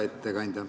Hea ettekandja!